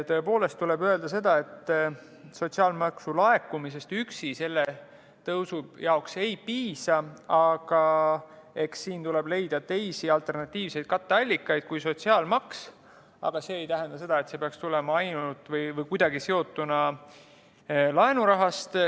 Tõepoolest tuleb öelda seda, et sotsiaalmaksu laekumisest üksi selleks tõusuks ei piisa, aga eks siin tuleb leida teisi, alternatiivseid katteallikaid kui sotsiaalmaks, aga see ei tähenda seda, et see peaks tulema ainult laenurahast või kuidagi sellega seotuna.